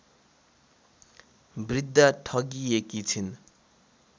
वृद्धा ठगिएकी छिन्